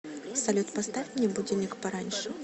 салют поставь мне будильник пораньше